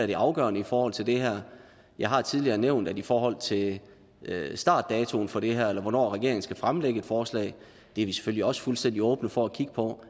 det afgørende i forhold til det her jeg har tidligere nævnt at i forhold til startdatoen for det her eller hvornår regeringen skal fremlægge et forslag er vi selvfølgelig også fuldstændig åbne for at kigge på